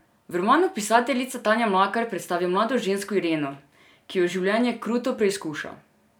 V romanu pisateljica Tanja Mlakar predstavi mlado žensko Ireno, ki jo življenje kruto preizkuša.